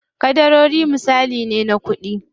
Ƙadarori misali ne na kuɗi.